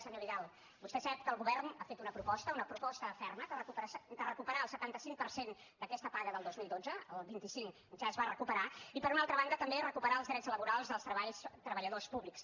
senyor vidal vostè sap que el govern ha fet una proposta una proposta ferma de recuperar el setanta cinc per cent d’aquesta paga del dos mil dotze el vint cinc ja es va recuperar i per una altra banda també recuperar els drets laborals dels treballadors públics